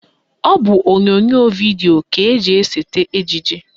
Ọ bụ onyonyo vidio ka eji esete ejije